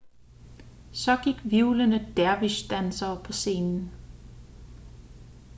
så gik hvirvlende dervish-dansere på scenen